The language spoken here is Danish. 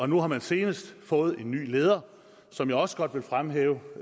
nu har man senest fået en ny leder som jeg også godt vil fremhæve